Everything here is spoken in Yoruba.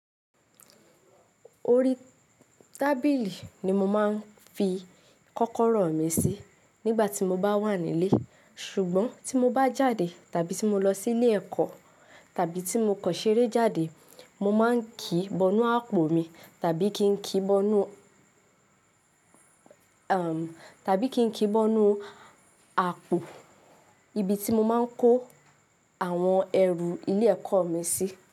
Orí tábìlì ni mo máa ń fi kọ́kọ́rọ́ mi sí nígbà tí mo bá wà nílé. Ṣùgbọ́n tí mo bá jáde tàbí tí mo lọ sí ilé ẹ̀kọ́ tàbí tí mo kọ ṣeré jáde, mo máa ń kí bọ́nù àpò mi tàbí kí ń kí bọ́nù, tàbí kí ń kí bọ́nù àpò ibi tí mo máa ń kó àwọn ẹrù ilé ẹ̀kọ́ mi sí.